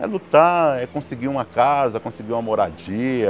É lutar, é conseguir uma casa, conseguir uma moradia.